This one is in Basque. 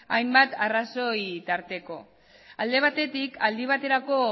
hainbat arrazoi tarteko alde batetik aldi baterako